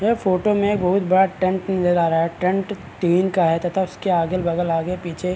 यह फोटो में एक बहुत बड़ा टेंट नजर आ रहा है टेंट टिन का है तथा उसके अगल-बगल आगे-पीछे --